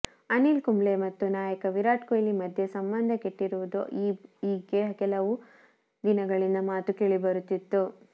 ಅನಿಲ್ ಕುಂಬ್ಳೆ ಮತ್ತು ನಾಯಕ ವಿರಾಟ್ ಕೊಹ್ಲಿ ಮಧ್ಯೆ ಸಂಬಂಧ ಕೆಟ್ಟಿರುವುದು ಈಗ್ಗೆ ಕೆಲವಾರು ದಿನಗಳಿಂದ ಮಾತು ಕೇಳಿಬರುತ್ತಿತ್ತು